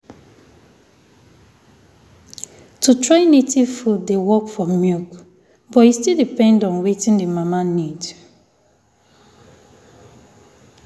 to try native food dey work for milk but e still depend on wetin the mama need.